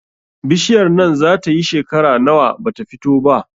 Bishiyar nan zata yi shekera nawa bata fito ba?